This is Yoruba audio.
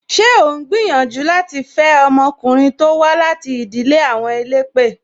Ṣé o ń gbìyànjú láti fe ọmọkùnrin to wá láti ìdílé àwọn elépè?